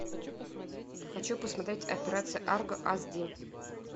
хочу посмотреть операция арго ас ди